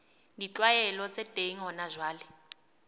ditlwaelo tse teng hona jwale